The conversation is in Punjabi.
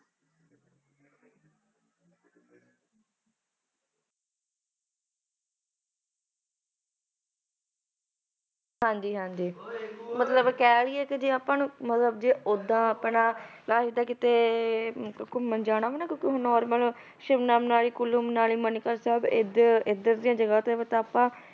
ਹਾਂਜੀ ਹਾਂਜੀ ਮਤਲਬ ਕਹਿ ਲਈਏ ਤੇ ਜੇ ਆਪਾਂ ਨੂੰ ਮਤਲਬ ਜੇ ਓਦਾਂ ਆਪਣਾ ਨਾਲੇ ਤਾਂ ਕਿਤੇ ਘੁੰਮਣ ਜਾਣਾ ਵਾ ਕਿਉਂਕਿ normal ਸ਼ਿਮਲਾ, ਮਨਾਲੀ, ਕੁੱਲੂ ਮਨਾਲੀ, ਮਨੀਕਰਨ ਸਾਹਿਬ ਇੱਧਰ ਇੱਧਰ ਦੀਆਂ ਜਗ੍ਹਾ ਤੇ ਵੀ ਤਾਂ ਆਪਾਂ